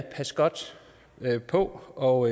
er pas godt på og